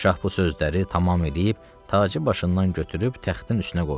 Şah bu sözləri tamam eləyib, tacı başından götürüb təxtin üstünə qoydu.